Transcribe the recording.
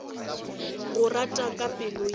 go rata ka pelo ya